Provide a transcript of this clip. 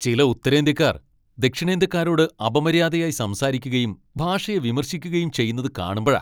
ചില ഉത്തരേന്ത്യക്കാർ ദക്ഷിണേന്ത്യക്കാരോട് അപമര്യാദയായി സംസാരിക്കുകയും ഭാഷയെ വിമർശിക്കുകയും ചെയ്യുന്നത് കാണുമ്പഴാ.